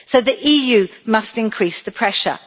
So the EU must increase the pressure.